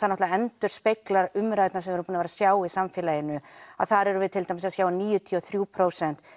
náttúrulega endurspeglar umræðuna sem við erum að sjá í samfélaginu að þar erum við til dæmis að sjá níutíu og þrjú prósent